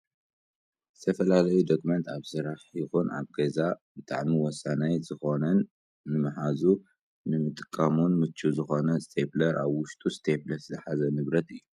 ንዝተፈላለዩ ዶክመንት ኣብ ስራሕ ይኹን ኣብ ገዛ ብጣዕሚ ወሳናይ ዝኾነን ንምሓዙን ንምጥቃሙን ምቹው ዝኾነ እስቴፕለር ኣብ ውሽጡ እስቴፕልስ ዝሓዘ ንብረት እዩ።